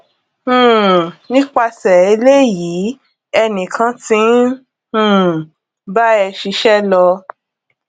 um nípasè eléyìí ènì kan ti ń um bá ẹ ṣíṣẹ lọ